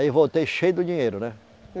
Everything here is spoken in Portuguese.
Aí voltei cheio do dinheiro, né?